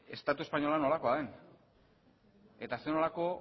estatu espainola nolako den eta zer nolako